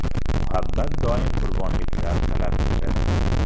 Muhabbat doim qurbonliklar talab etadi.